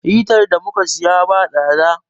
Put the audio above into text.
Hitar dafa ruwan da mu ka siya ba tsada.